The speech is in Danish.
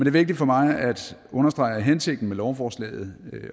er vigtigt for mig at understrege at hensigten med lovforslaget